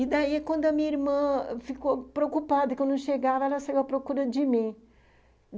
E daí, quando a minha irmã ficou preocupada que eu não chegava, ela saiu à procura de mim.